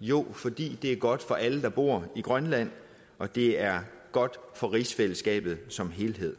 jo fordi det er godt for alle der bor i grønland og det er godt for rigsfællesskabet som helhed